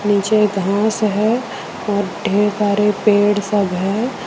नीचे घांस है और ढेर सारे पेड़ सब है।